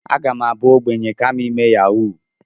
Aga m abụ ogbenye kama ime yahuu.